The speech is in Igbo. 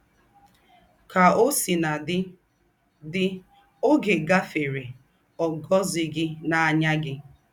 Kà ọ́ sínà dị́, dị́, ọ́gẹ́ gáfèrè, ọ́ gọ̀zị̀ghị́ n’áyá gị̀.